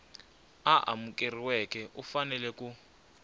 a amukeriweke u fanele ku